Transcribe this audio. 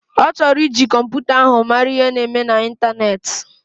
Ọchọrọ iji kọmputa ahu mara ihe na eme na intaneti.